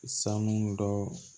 Sanu dɔ